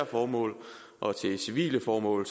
formål og til civile formål